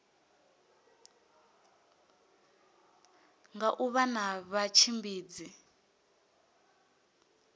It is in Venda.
nga u vha na vhatshimbidzi